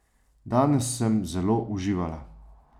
Danes sem zelo uživala.